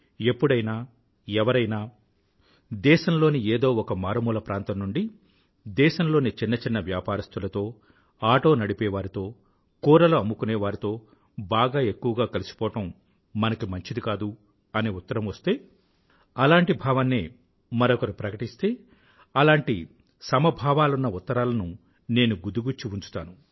ఎప్పుడైనా ఎవరైనా దేశంలోని ఏదో ఒక మారుమూల ప్రాంతం నుండి దేశం లోని చిన్న చిన్న వ్యాపారస్తులతో ఆటో నడిపేవారితో కూరలు అమ్ముకునే వారితో బాగా ఎక్కువగా కలిసిపోవడం మనకి మంచిది కాదు అని ఉత్తరం వస్తే అలాంటి భావాన్నే మరొకరు ప్రకటిస్తే అలాంటి సమభావాలున్న ఉత్తరాలను నేను గుదిగుచ్చి ఉంచుతాను